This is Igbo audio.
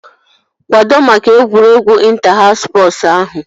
Kwado maka egwuregwu ịnta haus spọsu ahụ!